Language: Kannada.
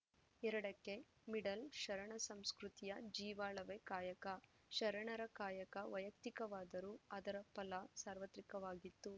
ಎರಡಕ್ಕೆಮಿಡಲ್‌ಶರಣ ಸಂಸ್ಕೃತಿಯ ಜೀವಾಳವೇ ಕಾಯಕ ಶರಣರ ಕಾಯಕ ವೈಯಕ್ತಿಕವಾದರೂ ಅದರ ಫಲ ಸಾರ್ವತ್ರಿಕವಾಗಿತ್ತು